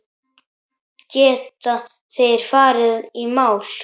Geta þeir farið í mál?